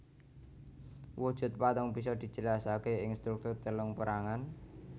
Wujud patung bisa dijelasake ing struktur telung perangan